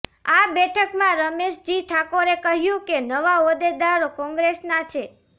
આ બેઠકમાં રમેશજી ઠાકોરે કહ્યું કે નવા હોદ્દેદારો કોંગ્રેસનાં છે